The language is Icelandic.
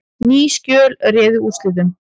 Ný skjöl réðu úrslitum